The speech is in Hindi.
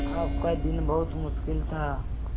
आपका दिन बहुत मुश्किल था